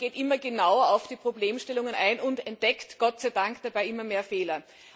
Man geht immer genauer auf die Problemstellungen ein und entdeckt gottseidank dabei immer mehr Fehler.